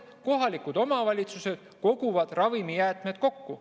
Kohalikud omavalitsused koguvad ravimijäätmed kokku.